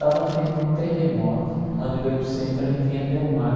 Tava tendo um terremoto, onde o epicentro era em viña del mar.